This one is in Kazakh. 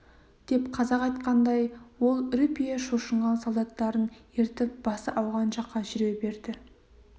деп қазақ айтқандай ол үрпие шошынған солдаттарын ертіп басы ауған жаққа жүре берді